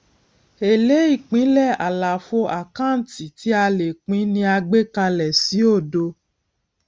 èlé ìpínlẹ àlàfo àkáǹtì tí a lè pín ni a gbé kalẹ sí òdo